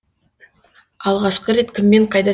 алғашқы рет кіммен қайда